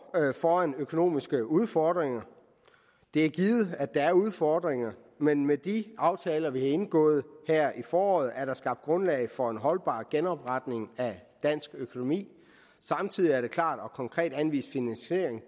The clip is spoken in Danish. foran økonomiske udfordringer det er givet at der er udfordringer men med de aftaler vi har indgået her i foråret er der skabt grundlag for en holdbar genopretning af dansk økonomi samtidig er der klart og konkret anvist finansiering